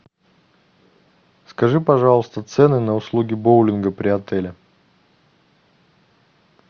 скажи пожалуйста цены на услуги боулинга при отеле